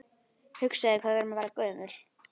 Hugsaðu þér hvað við erum að verða gömul.